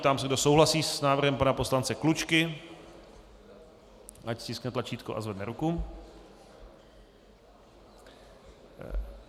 Ptám se, kdo souhlasí s návrhem pana poslance Klučky, ať stiskne tlačítko a zvedne ruku.